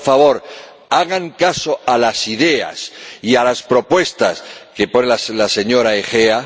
Por favor, hagan caso a las ideas y a las propuestas que propone la señora Agea.